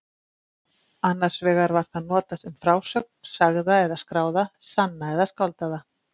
Annars vegar var það notað um frásögn, sagða eða skráða, sanna eða skáldaða.